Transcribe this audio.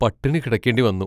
പട്ടിണി കിടക്കേണ്ടി വന്നു.